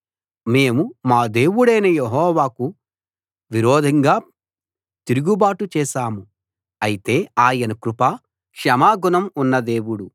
మేము మా దేవుడైన యెహోవాకు విరోధంగా తిరుగుబాటు చేశాము అయితే ఆయన కృప క్షమాగుణం ఉన్న దేవుడు